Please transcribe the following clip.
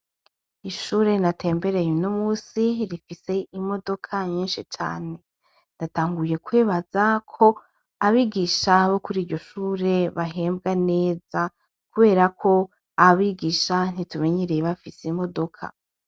Ishure natembereye no musi rifise imodoka nyinshi cane natanguye kwibaza ko abigisha bo kuri iryo shure bahembwa neza, kubera ko abigisha ntitumenyereye bafise imodoka.